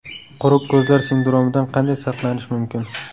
Quruq ko‘zlar sindromidan qanday saqlanish mumkin?.